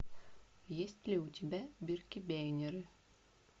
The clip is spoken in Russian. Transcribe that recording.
есть ли у тебя биркебейнеры